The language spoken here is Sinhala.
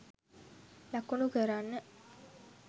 ලකුණු කරන්න.